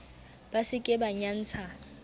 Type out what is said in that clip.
ba se ke ba nyantsha